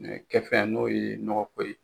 kɛfɛn n'o ye nɔgɔko ye.